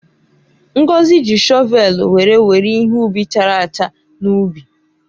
Ngozi ji shọvelụ were were ihe ubi chara acha n’ubi.